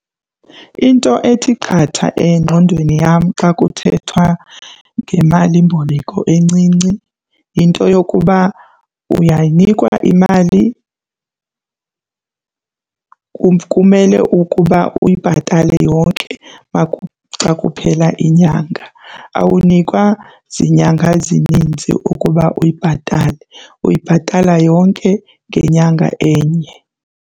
Into ethi qatha engqondweni yam xa kuthethwa ngemalimboleko encinci yinto yokuba uyayinikwa imali kumele ukuba uyibhatale yonke xa kuphela inyanga. Awunikwa zinyanga zininzi ukuba uyibhatale, uyibhatala yonke ngenyanga enye.